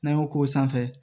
N'an y'o k'o sanfɛ